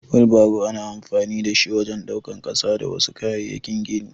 Wilbaro ana amfani da shi wajen daukan ƙasa da wasu kayayyakin gini.